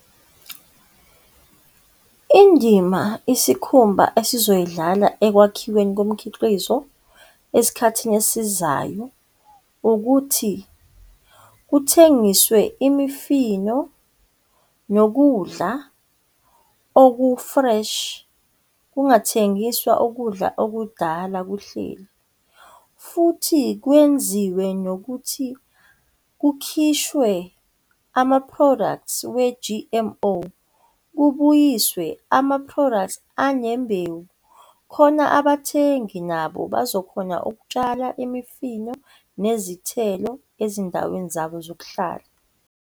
Indima isikhumba esizoyidlala ekwakhiweni komkhiqizo esikhathini esizayo ukuthi, kuthengiswe imifino nokudla oku fresh. Kungathengiswa ukudla okudala kuhleli, futhi kwenziwe nokuthi kukhishwe ama-products we-G_M_O kubuyiswe ama-products anembewu, khona abathengi nabo bazokhona ukutshala imifino nezithelo ezindaweni zabo zokuhlala.